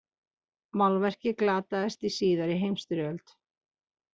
Málverkið glataðist í síðari heimsstyrjöld.